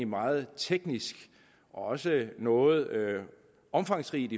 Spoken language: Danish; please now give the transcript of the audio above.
meget teknisk og også noget omfangsrigt